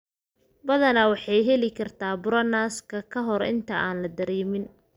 Badanaa, waxay heli kartaa buro naaska ka hor inta aan la dareemin.